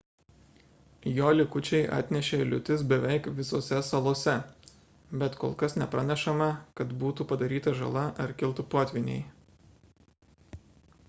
jo likučiai atnešė liūtis beveik visose salose bet kol kas nepranešama kad būtų padaryta žala ar kiltų potvyniai